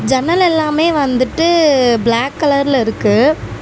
ஜன்னல் எல்லாமே வந்துட்டு பிளாக் கலர்ல இருக்கு.